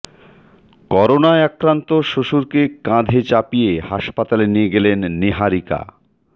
করোনায় আক্রান্ত শ্বশুরকে কাঁধে চাপিয়ে হাসপাতালে নিয়ে গেলেন নীহারিকা